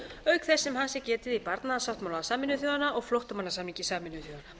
auk þess sem hans er getið í barnasáttmála sameinuðu þjóðanna og flóttamannasamningi sameinuðu þjóðanna í